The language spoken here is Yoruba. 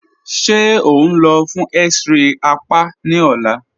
Ṣe o nlọ́ fun x-ray àpá ni ọ̀là?